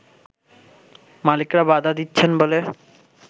মালিকরা বাধা দিচ্ছেন বলে